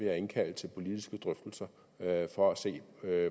jeg indkalde til politiske drøftelser for at se